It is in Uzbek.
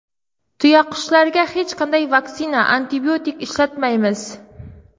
Tuyaqushlarga hech qanday vaksina, antibiotik ishlatmaymiz.